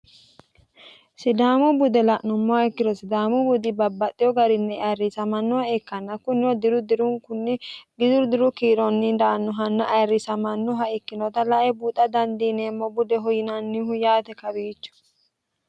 Sidaamu bude la'numoha ikkiro sidaamu budi babbaxino garinni ayiirisamannoha ikkanna kunino diru dirunkunni daannoha ikkinota buuxa dandiinemmo budeho yinannihu kawiicho.